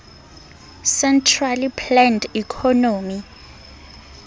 centrally planned economy